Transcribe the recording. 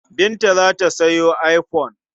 Binta za ta sayo iphone.